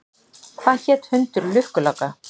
Hvað hét hundur lukkuláka?